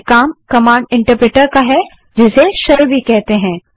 ये command interpreter का कार्य है जिसे शेल भी कहते हैं